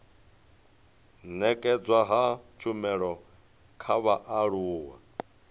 nekedzwa ha tshumelo kha vhaaluwa